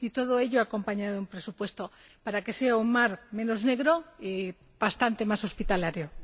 Todo ello, acompañado de un presupuesto, para que aquel mar sea un mar menos negro y bastante más hospitalario.